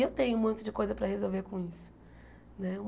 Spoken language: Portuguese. E eu tenho um monte de coisa para resolver com isso né.